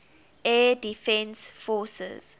air defense forces